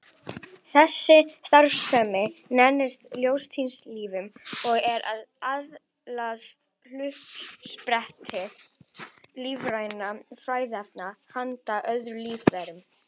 Þessi starfsemi nefnist ljóstillífun og er aðaluppspretta lífrænna fæðuefna handa öðrum lífverum.